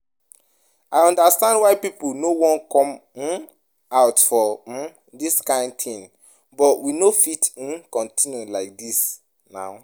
I understand why people no wan come um out for um dis kyn thing but we no fit um continue like dis nah